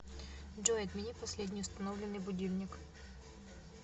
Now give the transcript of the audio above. джой отмени последний установленный будильник